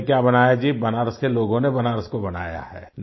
हमने क्या बनाया जी बनारस के लोगों ने बनारस को बनाया है